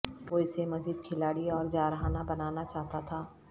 وہ اسے مزید کھلاڑی اور جارحانہ بنانا چاہتا تھا